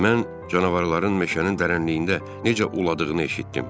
Mən canavarların meşənin dərəninliyində necə uladığını eşitdim.